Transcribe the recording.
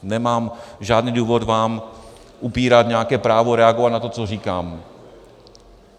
Nemám žádný důvod vám upírat nějaké právo reagovat na to, co říkám.